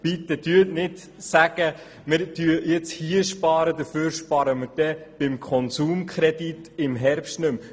Bitte sagen Sie nicht, wir würden hier sparen und dafür würden wir beim Konsumkredit im Herbst nicht mehr sparen.